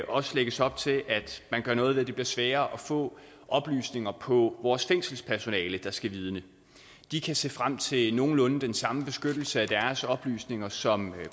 også lægges op til at man gør noget ved at det bliver sværere at få oplysninger på vores fængselspersonale der skal vidne de kan se frem til nogenlunde den samme beskyttelse af deres oplysninger som